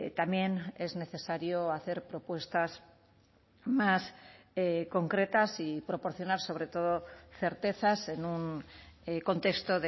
también es necesario hacer propuestas más concretas y proporcionar sobre todo certezas en un contexto